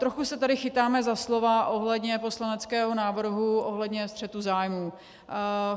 Trochu se tady chytáme za slova ohledně poslaneckého návrhu, ohledně střetu zájmů.